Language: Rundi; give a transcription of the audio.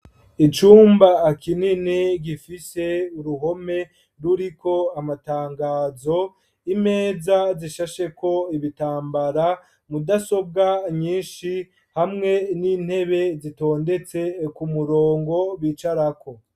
Icumba kinini, gifise uruhome, ruriko amatangazo; imeza zishasheko ibitambara, mudasobwa nyinshi, hamwe n'intebe, zitondetse ku murongo, bicarako.